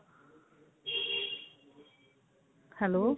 hello